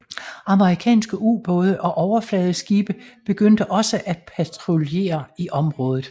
Amerikanske ubåde og overfladeskibe begyndte også at patruljere i området